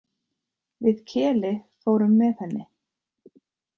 Við Keli fórum með henni.